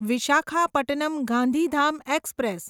Visakhapatnam Gandhidham express